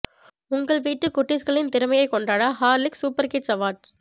உங்க வீட்டு குட்டீஸ்களின் திறமையை கொண்டாட ஹார்லிக்ஸ் சூப்பர் கிட்ஸ் அவார்ட்ஸ்